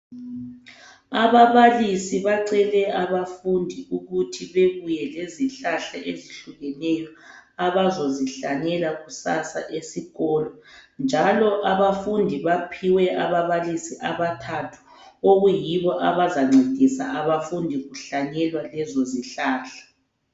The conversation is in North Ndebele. Ababalisi bacele abafundi ukuthi bebuye lezihlahla ezihlukeneyo abazozihlanyela kusasa esikolo. Njalo abafundi baphiwe ababalisi abathathu okuyibo abazancedisa abafundi kuhlanyelwa lezo zihlahla.